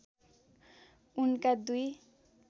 उनका दुई